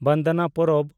ᱵᱟᱸᱫᱱᱟ ᱯᱚᱨᱚᱵᱽ